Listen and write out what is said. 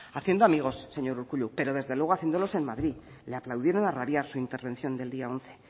haciendo amigos señor urkullu pero desde luego haciéndolos en madrid le aplaudieron a rabiar su intervención del día once